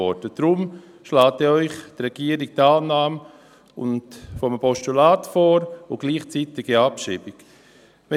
Deshalb schlägt Ihnen die Regierung ja die Annahme als Postulats und die gleichzeitige Abschreibung vor.